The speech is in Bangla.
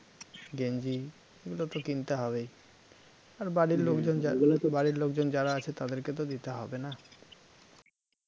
গেঞ্জি এগুলো তো কিনতে হবেই আর বাড়ির লোকজন যা আর বাড়ির লোকজন যারা আছে তাদেরকে তো দিতে হবে না